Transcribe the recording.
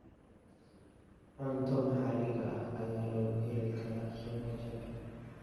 Cunto maxaliga ah ayaa lagu heli karaa qiimo jaban.